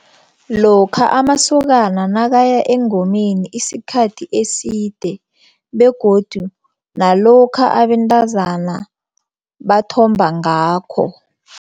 Lokha amasokana nakaya engomeni isikhathi eside begodu nalokha abentazana bathomba ngakho.